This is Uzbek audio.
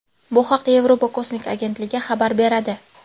Bu haqda Yevropa kosmik agentligi xabar beradi .